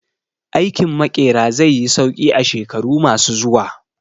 Aikin Maƙera zai yi sauƙi a shekaru ma su zuwa